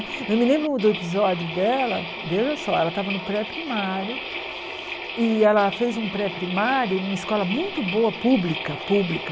Eu me lembro do episódio dela, veja só, ela estava no pré-primário e ela fez um pré-primário numa escola muito boa, pública, pública.